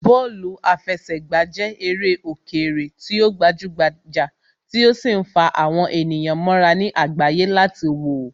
Bọ́ọ̀lù àfẹsẹ̀gbà jẹ́ eré òkèèrè tí ó gbajúgbajà tí ó sì ń fa àwọn ènìyàn mọ́ra ní àgbáyé láti wòó